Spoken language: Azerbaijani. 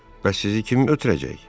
Bəs sizi kim ötürəcək?